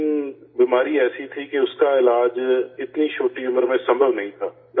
لیکن بیماری ایسی تھی کہ اس کا علاج اتنی چھوٹی عمر میں ممکن نہیں تھا